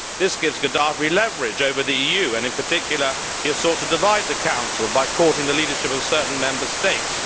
This gives Gaddafi leverage over the EU and, in particular, he has sought to divide the Council by courting the leadership of certain Member States.